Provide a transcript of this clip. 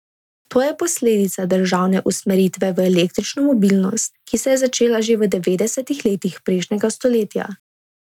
To je posledica državne usmeritve v električno mobilnost, ki se je začela že v devetdesetih letih prejšnjega stoletja.